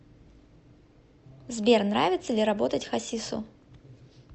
сбер нравится ли работать хасису